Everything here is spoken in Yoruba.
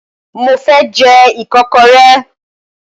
Mo fẹ́ jẹ́ Ìkọ́kọrẹ́